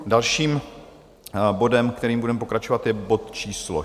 Dalším bodem, kterým budeme pokračovat, je bod číslo